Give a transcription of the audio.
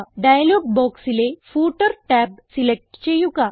dialogue ബോക്സിലെ footer tab select ചെയ്യുക